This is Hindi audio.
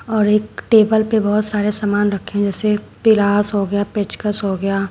और एक टेबल पे बहोत सामान रखे हैं जैसे पिलास हो गया पेचकस हो गया।